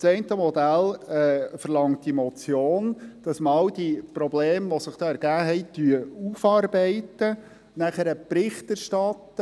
Das eine Modell verlangt die Motion, dass man all die Probleme aufarbeitet, die sich hier ergeben haben, nachher Bericht erstattet.